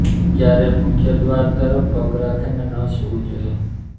ક્યારેય મુખ્ય દ્વાર તરફ પગ રાખીને ન સુવુ જોઈએ